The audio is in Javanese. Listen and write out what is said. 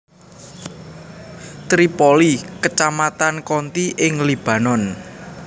Tripoli kecamatan county ing Libanon